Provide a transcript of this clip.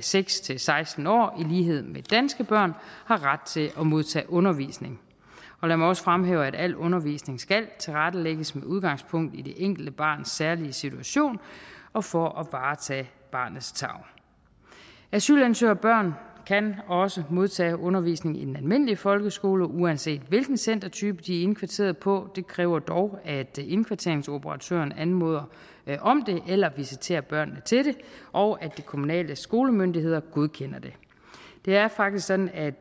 seks til seksten år i lighed med danske børn har ret til at modtage undervisning og lad mig også fremhæve at al undervisning skal tilrettelægges med udgangspunkt i det enkelte barns særlige situation og for at varetage barnets tarv asylansøgerbørn kan også modtage undervisning i den almindelige folkeskole uanset hvilken centertype de er indkvarteret på det kræver dog at indkvarteringsoperatøren anmoder om det eller visiterer børnene til det og at de kommunale skolemyndigheder godkender det det er faktisk sådan at